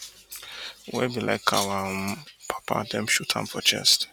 wey be like our um papa dem shoot am for chest